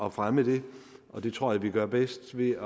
at fremme det og det tror jeg vi gør bedst ved